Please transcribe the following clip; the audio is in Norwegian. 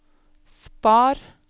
spar